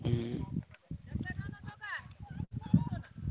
ହୁଁ